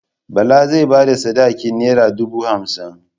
Bala zai ba da sadakin nera dubu hamsin.